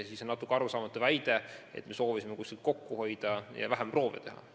Nii on natuke arusaamatu väide, et me soovisime kuskilt kokku hoida ja vähem proove teha.